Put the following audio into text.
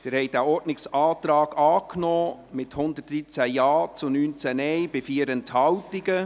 Sie haben diesen Ordnungsantrag angenommen, mit 113 Ja- gegen 19 Nein-Stimmen bei 4 Enthaltungen.